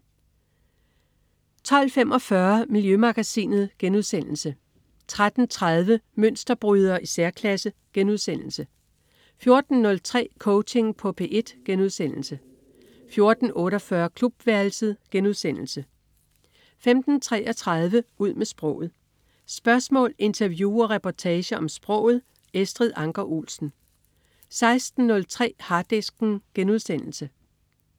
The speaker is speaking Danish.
12.45 Miljømagasinet* 13.30 Mønsterbrydere i særklasse* 14.03 Coaching på P1* 14.48 Klubværelset* 15.33 Ud med sproget. Spørgsmål, interview og reportager om sproget. Estrid Anker Olsen 16.03 Harddisken*